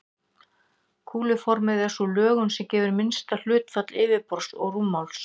Kúluformið er sú lögun sem gefur minnsta hlutfall yfirborðs og rúmmáls.